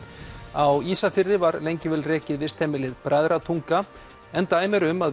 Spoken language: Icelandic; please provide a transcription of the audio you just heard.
á Ísafirði var lengi vel rekið vistheimilið Bræðratunga en dæmi eru um að